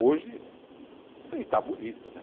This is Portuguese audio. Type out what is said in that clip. Hoje, e está bonito, né?